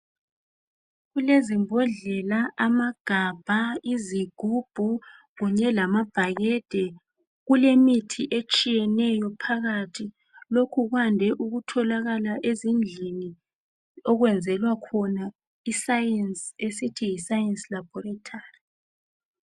Kulezimbodlela, amagabha, izigubhu kunye lamabhakede. Kulemithi etshiyeneyo phakathi. Lokhu kwande ukutholakala ezindlini okwenzelwa khona iScience. Esithi yiScience laboratory.